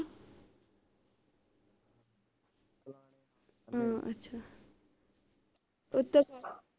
ਹਾਂ ਅੱਛਾ ਉੱਤੋਂ